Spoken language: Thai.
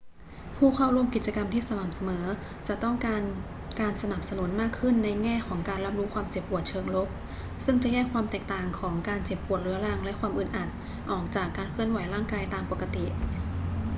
ผู้เข้าร่วมกิจกรรมที่สม่ำเสมอจะต้องการการสนับสนุนมากขึ้นในแง่ของการรับรู้ความเจ็บปวดเชิงลบ ซึ่งจะแยกความแตกต่างของการเจ็บปวดเรื้อรังและความอึดอัดออกจากการเคลื่อนไหวร่างกายตามปกติ